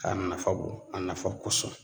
K'a nafa bɔ a nafa kosɔn